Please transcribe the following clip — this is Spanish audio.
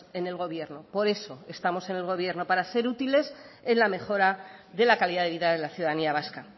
en el gobierno por eso estamos en el gobierno para ser útiles en la mejora de la calidad de vida de la ciudadanía vasca